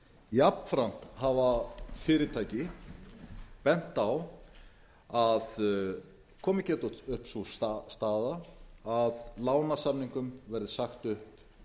jafnframt hafa fyrirtæki bent á að komið geti upp sú staða að lánasamningum verði sagt upp